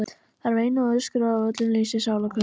Þær veinuðu og öskruðu af öllum lífs og sálar kröftum.